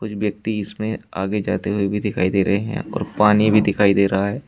व्यक्ति इसमें आगे जाते हुए भी दिखाई दे रहे हैं और पानी भी दिखाई दे रहा है।